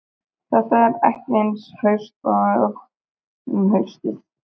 Þetta er ekki eins haust og um haustið.